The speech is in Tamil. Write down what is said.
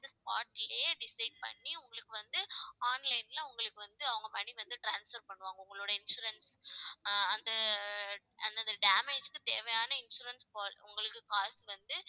அந்த spot லயே decide பண்ணி உங்களுக்கு வந்து online ல உங்களுக்கு வந்து அவங்க money வந்து transfer பண்ணுவாங்க உங்களுடைய insurance ஆஹ் அந்தந்த damage க்கு தேவையான insurance po~ உங்களுக்கு காசு வந்து